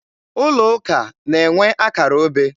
Ụlọ ụka na-enwe akara obe.